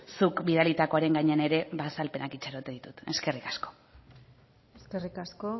zuk bidalitakoaren gainean ere ba azalpenak itxaroten ditut eskerrik asko eskerrik asko